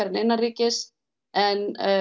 en innanríkismál en